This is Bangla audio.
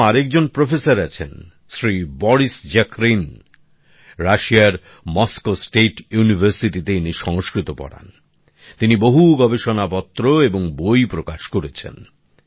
এরকম আরেকজন প্রফেসর আছেন শ্রী বরিস জাখরিন রাশিয়ার মস্কো স্টেট ইউনিভারসিটিতে ইনি সংস্কৃত পড়ান তিনি বহু গবেষণপত্র এবং বই প্রকাশ করেছেন